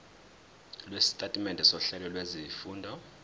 lwesitatimende sohlelo lwezifundo